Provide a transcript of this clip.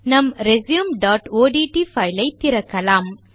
நம் resumeஒட்ட் பைல் ஐ திறக்கலாம்